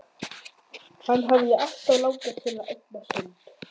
Og hvernig bregðast stuðningsmenn liðanna við?